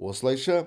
осылайша